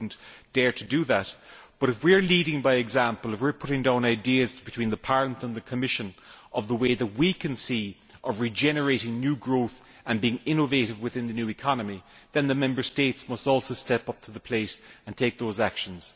I would not dare to do so, but if we are leading by example, and, if we are putting down ideas between Parliament and the Commission about the ways we can see of regenerating new growth and about being innovative within the new economy, then the Member States must also step up to the plate and take those actions.